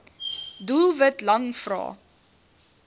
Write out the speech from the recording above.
doelwit lang vrae